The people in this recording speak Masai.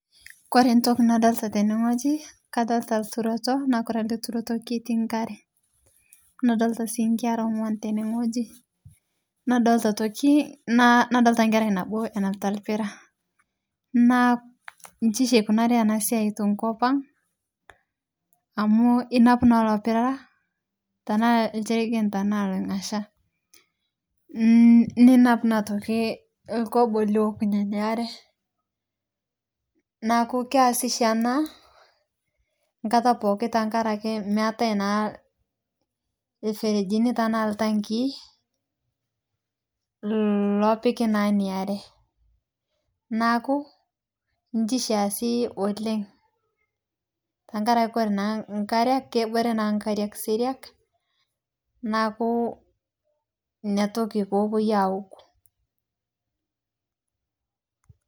Kore ntoki nadolita teneng'oji kadolita lturoto naa kore ale turoto ketii nkare, nadolita sii nkera ongw'an tene ng'oji, nadolita atoki nna nadolita nkerai nabo enapita lpira. Naa inchi sii eikunarie ana siai tenkopang' amu inapu naa ilo piraa tanaa lcheirgen tanaa loing'asha. Nninapu naa atoki lkobo liokunye inia are, neaku keasi sishi ana nkata pooki tenkare ake meatae naa lferejini tanaa lntangii lloopiki naa inia are neaku inchi sii easi oleng' tankare kore naa nkare kobore naa nkariak seriak naaku inia toki poopoi aaok nkare.